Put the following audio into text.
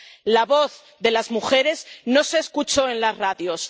La voz de las mujeres no se escuchó en las radios